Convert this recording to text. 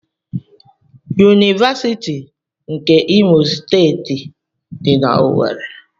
Univasiti nke Imo steeti di na owerri.